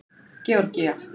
Georgía